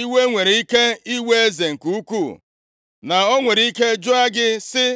iwe nwere ike iwe eze nke ukwu, na o nwere ike jụọ gị sị,